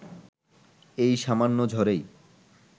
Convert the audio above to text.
এই সামান্য ঝড়েই